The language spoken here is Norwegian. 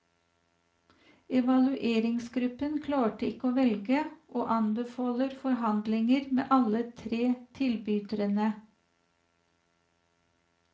Evalueringsgruppen klarte ikke å velge, og anbefaler forhandlinger med alle tre tilbyderne.